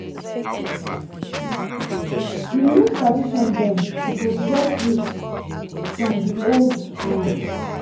di new tradition dem suppose get root from di old one.